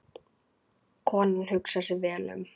Konan hugsar sig vel um.